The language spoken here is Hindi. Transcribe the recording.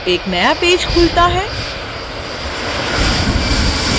एक नया पेज खुलता है